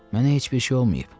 Mənə heç bir şey olmayıb.